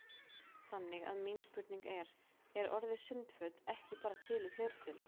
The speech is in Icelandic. Þannig að mín spurning er: Er orðið sundföt ekki bara til í fleirtölu?